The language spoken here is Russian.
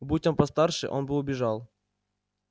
будь он постарше он бы убежал